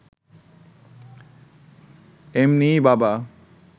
এমনিই বাবা